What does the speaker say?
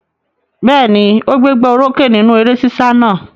Bẹ́ẹ̀ ni, ó gbégbá orókè nínú eré sísá náà.